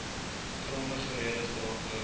grondige redes daarvoor